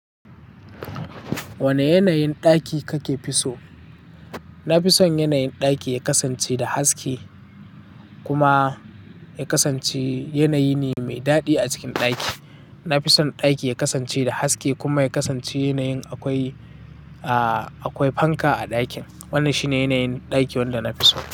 Wani yanayin ɗaki ka ke fi so? Na fi son yanayin ɗaki ya kasance da haske kuma ya kasance yanayi ne mai daɗi a cikin ɗaki. Na fi son ɗaki ya kasance da haske kuma ya kasance yanayin akwai, a, akwai fanka a ɗakin. Wannan shine yanayin ɗaki wanda na fi so.